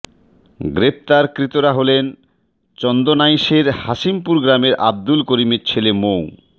গ্রেপ্তারকৃতরা হলেন চন্দনাইশের হাশিমপুর গ্রামের আবদুল করিমের ছেলে মো